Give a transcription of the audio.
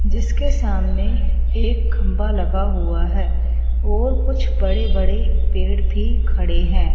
जिसके सामने एक खंभा लगा हुआ है और कुछ बड़े बड़े पेड़ भी खड़े है।